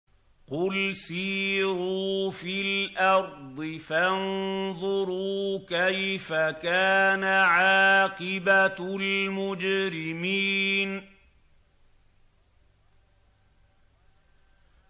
قُلْ سِيرُوا فِي الْأَرْضِ فَانظُرُوا كَيْفَ كَانَ عَاقِبَةُ الْمُجْرِمِينَ